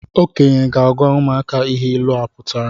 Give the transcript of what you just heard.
Okenye ga-agwa ụmụaka ihe ịlụ pụtara